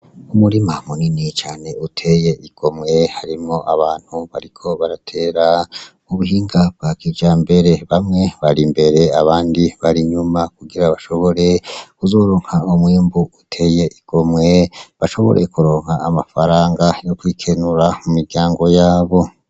Umurima munini cane uteye igomwe harimwo abantu bariko baratera mu buhinga bwa kijambere bamwe bari imbere abandi bari inyuma kugira bashobore kuzoronka umwimbu uteye igomwe bashobore kuronka amafaranga yo kwikenura mu miryango yabo.